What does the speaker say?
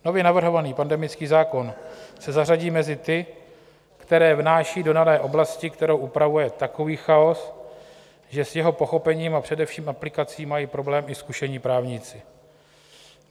Nově navrhovaný pandemický zákon se zařadí mezi ty, které vnáší do dané oblasti, kterou upravuje, takový chaos, že s jeho pochopením a především aplikací mají problém i zkušení právníci.